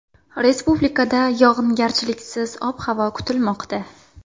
Respublikada yog‘ingarchiliksiz ob-havo kutilmoqda.